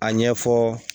A ɲɛfɔ